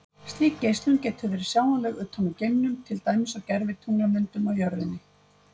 Slík geislun getur verið sjáanleg utan úr geimnum, til dæmis á gervitunglamyndum af jörðinni.